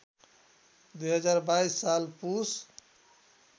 २०२२ साल पुस